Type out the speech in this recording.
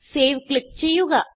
save click ചെയ്യുക